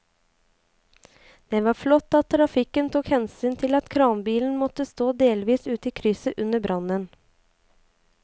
Det var flott at trafikken tok hensyn til at kranbilen måtte stå delvis ute i krysset under brannen.